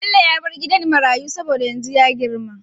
Bello ya bar gidan marayu saboda yanzu ya girma